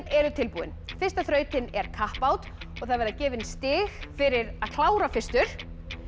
eru tilbúin fyrsta þrautin er kappát og það verða gefin stig fyrir að klára fyrstur